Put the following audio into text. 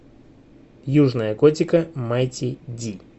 южная готика майти ди